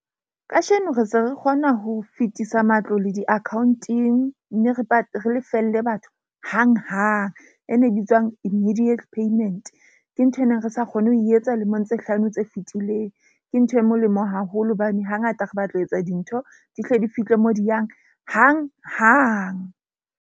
Kasheno, re se re kgona ho fetisa matlo le diakhaonteng. Mme re lefelle batho hanghang. E ne e bitswang immediate payment ke ntho e neng re sa kgone ho etsa lemong tse hlano tse fitileng. Ke ntho e molemo haholo hobane hangata re batla ho etsa dintho di hle di fihle mo di yang hanghang.